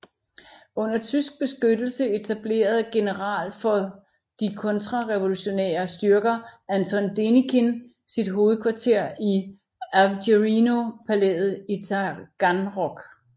Under tysk beskyttelse etablerede General for de kontrarevolutionære styrker Anton Denikin sit hovedkvarter i Avgerino palæet i Taganrog